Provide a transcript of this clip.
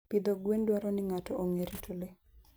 Pidho gwen dwaro ni ng'ato ong'e rito le.